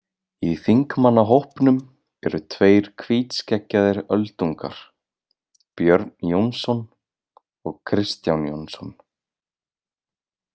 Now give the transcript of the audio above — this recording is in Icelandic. Í þingmannahópnum eru tveir hvítskeggjaðir öldungar, Björn Jónsson og Kristján Jónsson.